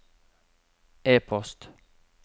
e-post